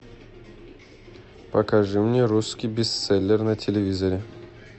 покажи мне русский бестселлер на телевизоре